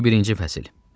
21-ci fəsil.